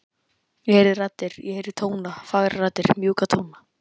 Ég heyrði raddir, ég heyrði tóna, fagrar raddir, mjúka tóna.